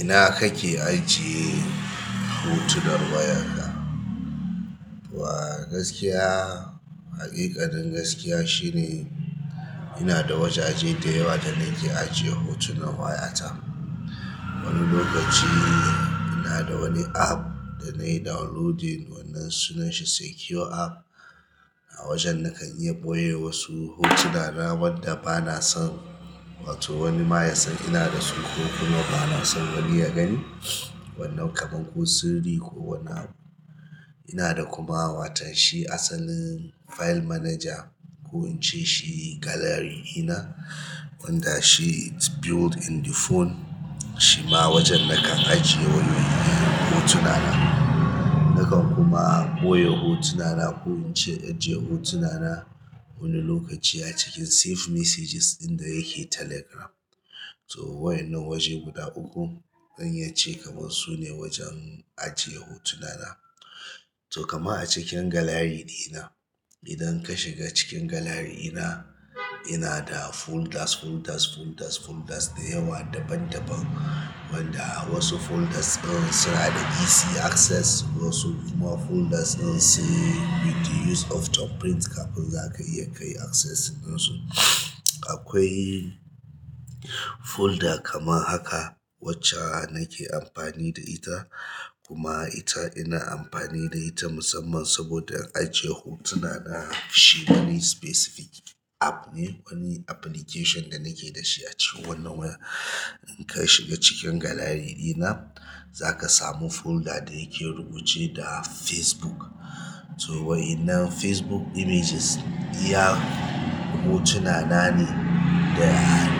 Ina kake ajiye hotunan wayarka? To a gaskiya, haƙiƙanin gaskiya shine ina da wajaje da yawa da nake ajiye hotunan wayata. Wani lokaci ina da wani app da na yi downloading wannan sunanshi Secure app, a wajen nakan iya ɓoye wasu hotuna na wanda bana son wato wani ma ya san ina da su ko kuma bana son wani ya gani. Wannan kamar ko sirri ko wani abu. Ina da kuma watan shi asalin file manager ko in ce shi gallery ɗina wanda shi it's built in the phone. Shi ma wajen nakan ajiye wani irin hotuna na. Nakan kuma ɓoye hotuna na ko in ce ajiye hotuna na wani lokaci a cikin save messages inda yake Telegram. To wa'innan waje guda uku zan iya ce kamar su ne wajen ajiye hotuna na. To kama a cikin gallery ɗina, idan ka shiga cikin gallery ɗina, ina da folders, folders, folders, folders da yawa daban daban, wanda wasu folders ɗin suna da easy access wasu kuma folders ɗin sai with the use of thumbprint kafin za ka iya kayi access in su. Akwai folder kaman haka wacce nake amfani da ita kuma ita ina amfani da ita musamman saboda ajiye hotuna na. Shi na specific app ne, wani application da nake da shi a cikin wannan waya. In ka shiga cikin gallery ɗina, za ka samu folder da yake rubuce da Facebook. To wa'innan Facebook images iya hotuna na ne da